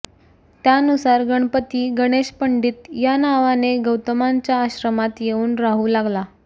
त्यानुसार गणपती गणेशपंडित या नावाने गौतमांच्या आश्रमात येऊन राहू लागला